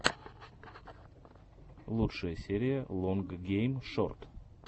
лучшая серия лонг гейм шорт